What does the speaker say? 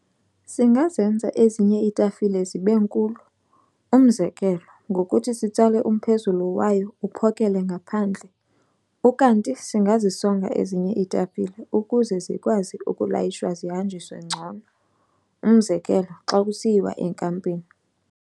Singazenza ezinye iitafile zibenkulu, umzekelo, ngokuthi sitsale umphezulu wayo uphokele ngaphandle. Ukanti singazisonga ezinye iitafile ukuze zikwazi ukulayishwa zihanjiswe ngcono, umzekelo xa kusiyiwa enkampini.